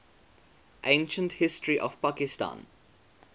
ancient history of pakistan